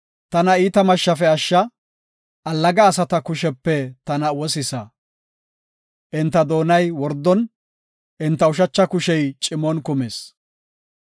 Tana iita mashshafe ashsha; allaga asata kushepe tana wosisa. Enta doonay wordon, enta ushacha kushey cimon kumis.